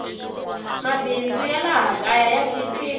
mabindzu ya laha kaya ya chipile